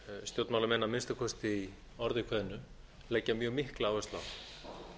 stjórnmálamenn að minnsta kosti í orði kveðnu leggja mjög mikla áherslu á